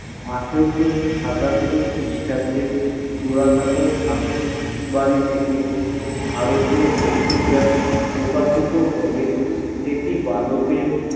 আঠারশ সোল ক্রিস্টাব্দে জরসকয় বাড়ি থেকে ভারতীয় পত্রিকা প্রকাশিত হলে সেটি বালকের